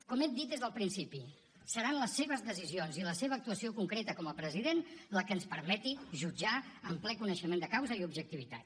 com he dit des del principi seran les seves decisions i la seva actuació concreta com a president la que ens permeti jutjar amb ple coneixement de causa i objectivitat